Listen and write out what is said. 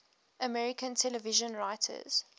american television writers